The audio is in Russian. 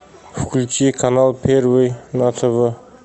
включи канал первый на тв